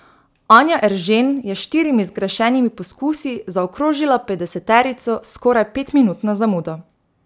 Anja Eržen je s štirimi zgrešenimi poskusi zaokrožila petdeseterico s skoraj petminutno zamudo.